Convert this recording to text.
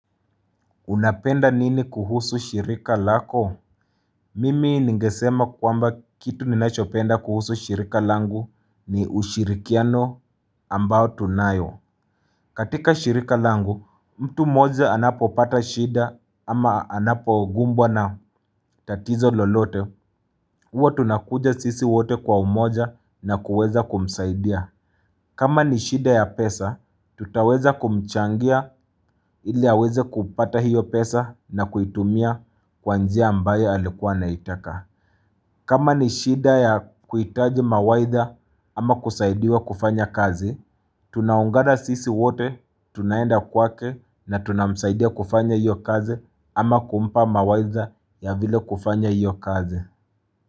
Unapenda nini kuhusu shirika lako? Mimi ningesema kwamba kitu ninachopenda kuhusu shirika langu ni ushirikiano ambao tunayo. Katika shirika langu, mtu mmoja anapo pata shida ama anapo kumbwa na tatizo lolote. Huwa tunakuja sisi wote kwa umoja na kuweza kumsaidia. Kama ni shida ya pesa, tutaweza kumchangia ili aweze kupata hiyo pesa na kuitumia kwa njia ambayo alikuwa anaitaka. Kama ni shida ya kuitaji mawaidha ama kusaidia kufanya kazi, tunaungana sisi wote, tunaenda kwake na tunamsaidia kufanya hiyo kazi ama kumpa mawaidha ya vile kufanya hiyo kazi.